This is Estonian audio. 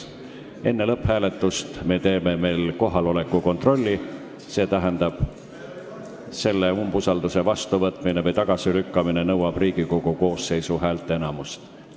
Enne lõpphääletust teeme veel kohaloleku kontrolli, st umbusaldusavalduse vastuvõtmine või tagasilükkamine nõuab Riigikogu koosseisu häälteenamust.